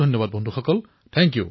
অশেষ ধন্যবাদ বন্ধুসকল